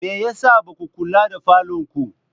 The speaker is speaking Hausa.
Me ya sa ba ku kula da falonku?